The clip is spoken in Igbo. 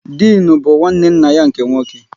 Dịnụ bụ nwanne nna ya nke nwoke